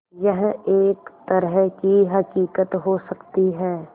यह एक तरह की हक़ीक़त हो सकती है